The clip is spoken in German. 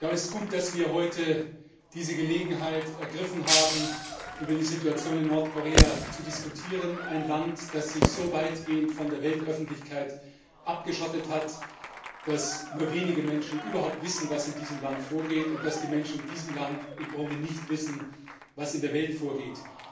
Es ist gut, dass wir heute die Gelegenheit ergriffen haben, über die Situation in Nordkorea zu diskutieren, ein Land, das sich so weitgehend von der Weltöffentlichkeit abgeschottet hat, dass nur wenige Menschen überhaupt wissen, was in diesem Land vorgeht, und dass die Menschen in diesem Land im Grunde nicht wissen, was in der Welt vorgeht.